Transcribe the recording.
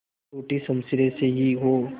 टूटी शमशीरें से ही हो